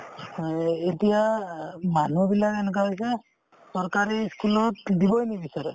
অ, এই এতিয়া অ মানুহবিলাক এনেকুৱা হৈছে চৰকাৰী ই school ত দিবই নিবিচাৰে